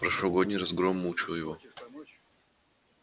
прошлогодний разгром мучил его